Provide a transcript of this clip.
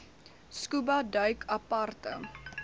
scuba duik aparte